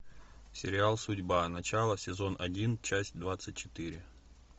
сериал судьба начало сезон один часть двадцать четыре